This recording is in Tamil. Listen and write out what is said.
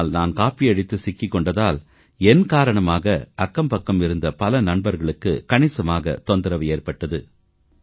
ஆனால் நான் காப்பியடித்து சிக்கிக் கொண்டதால் என் காரணமாக அக்கம்பக்கம் இருந்த பல நண்பர்களுக்கு கணிசமாகத் தொந்தரவு ஏற்பட்டது